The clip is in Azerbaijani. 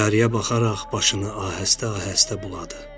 Təyyarəyə baxaraq başını ahəstə-ahəstə buladı.